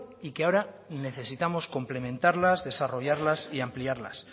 y que ahora necesitamos complementarlas desarrollarlas y ampliarlas